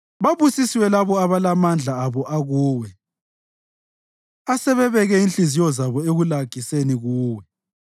Babusisiwe labo abalamandla abo akuwe asebebeke inhliziyo zabo ekulagiseni kuwe.